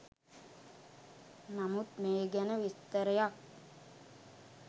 නමුත් මේ ගැන විස්තරයක්